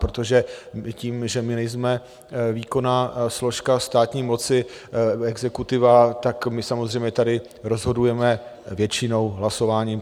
Protože tím, že my nejsme výkonná složka státní moci, exekutiva, tak my samozřejmě tady rozhodujeme většinou hlasováním.